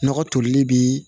Nɔgɔ tolili bi